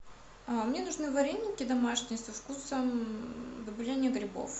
а мне нужны вареники домашние до вкусом добавления грибов